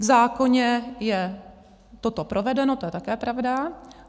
V zákoně je toto provedeno, to je také pravda.